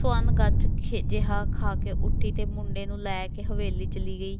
ਸਵਰਨ ਗੱਚ ਜਿਹਾ ਖਾ ਕੇ ਉੱਠੀ ਅਤੇ ਮੁੰਡੇ ਨੂੰ ਲੈ ਕੇ ਹਵੇਲੀ ਚਲੀ ਗਈ,